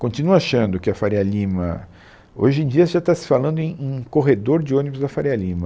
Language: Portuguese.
Continuo achando que a Faria Lima... Hoje em dia já está se falando em em corredor de ônibus da Faria Lima.